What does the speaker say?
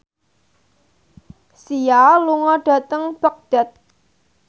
Sia lunga dhateng Baghdad